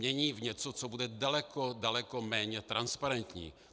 Mění v něco, co bude daleko, daleko méně transparentní.